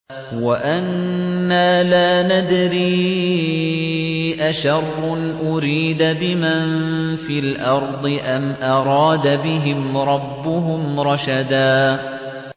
وَأَنَّا لَا نَدْرِي أَشَرٌّ أُرِيدَ بِمَن فِي الْأَرْضِ أَمْ أَرَادَ بِهِمْ رَبُّهُمْ رَشَدًا